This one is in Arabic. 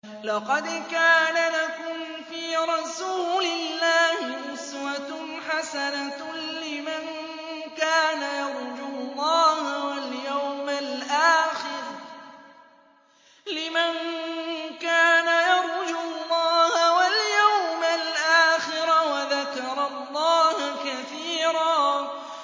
لَّقَدْ كَانَ لَكُمْ فِي رَسُولِ اللَّهِ أُسْوَةٌ حَسَنَةٌ لِّمَن كَانَ يَرْجُو اللَّهَ وَالْيَوْمَ الْآخِرَ وَذَكَرَ اللَّهَ كَثِيرًا